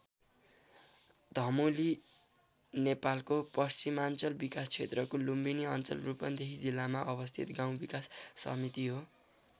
धमोली नेपालको पश्चिमाञ्चल विकास क्षेत्रको लुम्बिनी अञ्चल रूपन्देही जिल्लामा अवस्थित गाउँ विकास समिति हो।